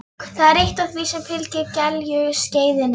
Það er eitt af því sem fylgir gelgjuskeiðinu.